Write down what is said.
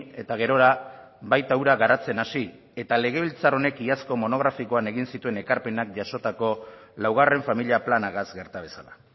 eta gerora baita hura garatzen hasi ta legebiltzar honek iazko monografikoan egin zituen ekarpenak jasotako laugarren familia planagaz gerta bezala